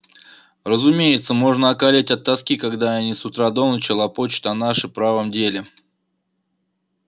разумеется можно околеть от тоски когда они с утра до ночи лопочут о нашем правом деле